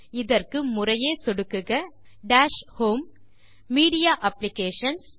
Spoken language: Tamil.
இதற்கு முறையே சொடுக்குக டாஷ் ஹோம் மீடியா அப்ளிகேஷன்ஸ்